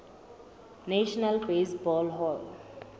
national baseball hall